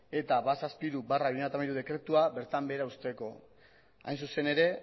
eta ehun eta hirurogeita hamairu barra bi mila hamairu dekretua bertan behera uzteko hain zuzen ere